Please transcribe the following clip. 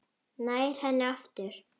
Nær henni aftur.